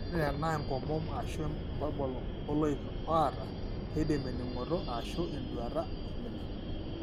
Ore tenaa enkomom ashu emborbol ooloik oata, keidim ening'oto ashu enduata aimina.